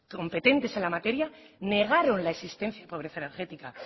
competentes en la materia negaron la existencia de la pobreza energética